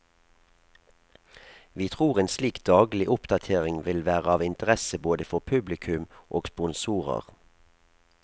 Vi tror en slik daglig oppdatering vil være av interesse både for publikum og sponsorer.